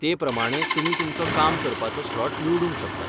ते प्रमाणें तुमी तुमचो काम करपाचो स्लॉट निवडूंक शकतात.